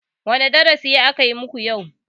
Wane darasi aka muku yau?